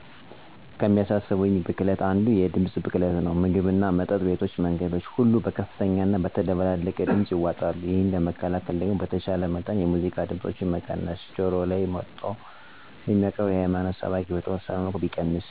ከሚያሳስበኝ ብክለት አንዱ የድምፅ ብክለት ነው። ምግብና መጠጥ ቤቶች መንገዶች ሁሉ በከፍተኛና በተደበላለቀ ድምፅ ይዋጣሉ። ይህንን ለመከላከል ደግሞ በተቻለ መጠን የሙዚቃ ድምፆችን መቀነስ፣ ጆሮ ላይ መጥቶ ስብከት የሚያቀርብን የሀይማኖት ሰባኪ በተወሰነ መልኩ ሰውን በማይረብሽና ፍላጎትን መሰረት ያደረገ ማድረግ ያስፈልጋል ብዬ አምናለሁ።